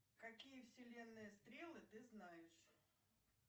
какие вселенные стрелы ты знаешь